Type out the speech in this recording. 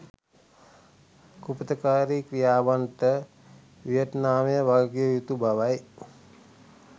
කුපිතකාරී ක්‍රියාවන්ට වියෙට්නාමය වගකිව යුතු බවයි